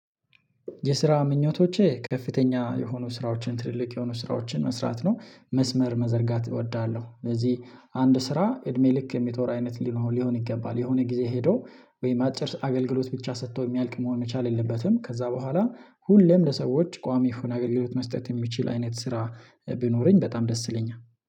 የስራ ምኞቶቼ ከፍተኛ የሆኑ ስራዎችን ትልልቅ የሆኑ ስራዎችን መስራት ነው መስመር መዘርጋት እወዳለሁ። ስለዚህ አንድ ስራ እድሜ ልክ የሚጦር አይነት ሊሆን ሊሆን ይገባል የሆነ ጊዜ ሄዶ ወይም አጭር አገልግሎት ብቻ ሰጥተው የሚያልቅ መሆን መቻል የለበትም። ከዛ በኋላ ሁሌም ለሰዎች ቋሚ አገልግሎት መስጠት የሚችል አይነት ስራ ቢኖረኝ በጣም ደስ ይለኛል